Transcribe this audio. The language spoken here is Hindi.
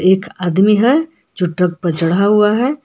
एक आदमी है जो ट्रक पे चढ़ा हुआ है।